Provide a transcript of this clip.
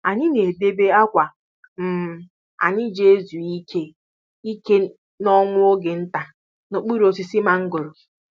Anyị na-edebe akwa um anyị ji ezu ike ike na nwa oge nta n'okpuru osisi mangoro